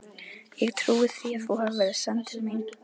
Ég trúi því að þú hafir verið send til mín.